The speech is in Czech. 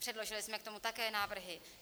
Předložili jsme k tomu také návrhy.